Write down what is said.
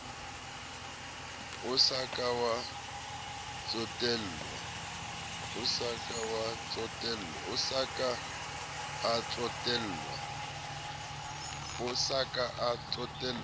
a sa ka a tsotellwa